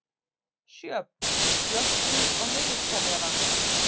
Sjöfn, slökktu á niðurteljaranum.